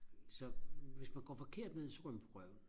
så hvis man går forkert ned så ryger man på røven